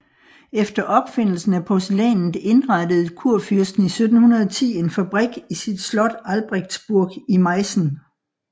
Efter opfindelsen af porcelænet indrettede kurfyrsten i 1710 en fabrik i sit slot Albrechtsburg i Meissen